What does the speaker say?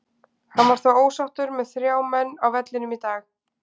Hann var þó ósáttur með þrjá menn á vellinum í dag.